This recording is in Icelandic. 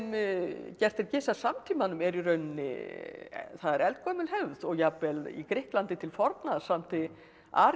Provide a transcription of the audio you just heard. gert er gys að samtímanum er í rauninni það er eldgömul hefð og jafnvel í Grikklandi til forna samdi